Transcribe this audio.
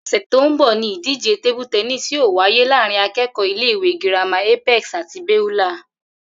Ò̩sè̩ tó ń bò̩ ni ìdíje table tennis yóò wáyé láàárín aké̩kò̩ó̩ ilé ìwé girama Apex àti Beulah